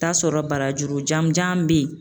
Taa sɔrɔ barajuru jan mun jan be yen